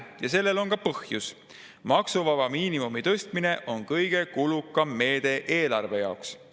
Ja sellel on ka põhjus – maksuvaba miinimumi tõstmine on kõige kulukam meede eelarve jaoks.